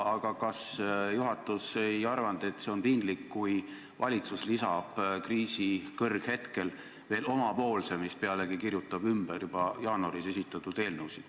Aga kas juhatus ei arvanud, et on piinlik, kui valitsus lisab kriisi kõrghetkel veel omapoolse eelnõu, mis pealegi kirjutab ümber juba jaanuaris esitatud eelnõusid?